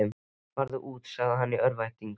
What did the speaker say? Farðu út, sagði hann í örvæntingu.